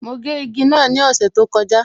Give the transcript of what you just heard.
Mo gé igi náà ni ọ̀sẹ̀ tó kọjá